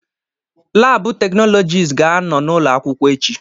Labụ teknọlọjist ga-anọ n'ụlọ akwụkwọ echi